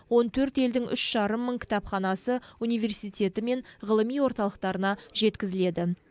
он төрт елдің үш жарым мың кітапханасы университеті мен ғылыми орталықтарына жеткізіледі